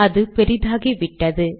அது பெரிதாகிவிட்டது